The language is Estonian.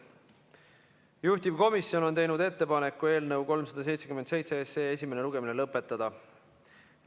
Juhtivkomisjon on teinud ettepaneku eelnõu 377 esimene lugemine lõpetada.